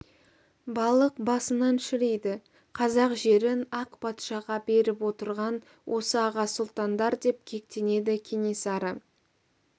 балық басынан шіриді қазақ жерін ақ патшаға беріп отырған осы аға сұлтандар деп кектенеді кенесары